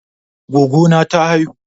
Goggo na ta haihu.